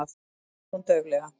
segir hún dauflega.